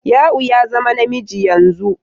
Ya'u ya zama namiji yanzu.